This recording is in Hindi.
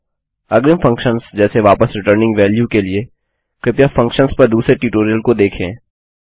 अग्रिम फंक्शन्सजैसे वापस रिटर्निंग वाल्यू के लिए कृपया फंक्शन्स पर दूसरे ट्यूटोरियल को देखें